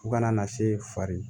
Fo kana na se fa